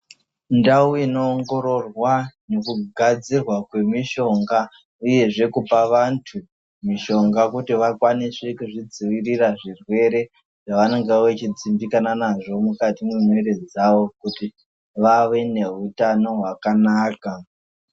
Ndau inowongororwa ngekugadzirwa kwemishonga, uyezve nkupa vantu mishonga kuti vakwanise kuzvidzivirira zvirwere zvavanenge vechidzimbikana nazvo mukati memuiri dzavo kuti vavenehutano hwakanaka.